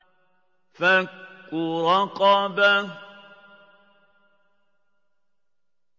فَكُّ رَقَبَةٍ